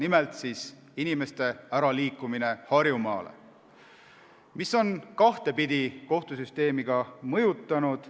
Nimelt on inimeste liikumine Harjumaale kohtusüsteemi kahtepidi mõjutanud.